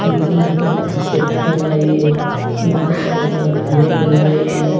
ఇంకా ఇక్కడ చెట్లు ఉన్నాయి ఇంకా ఇక్కడ రేకులు ఉన్నాయి.